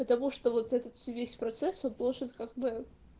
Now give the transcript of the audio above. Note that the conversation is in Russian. потому что вот этот весь процесс от площадь как бы